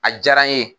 A diyara n ye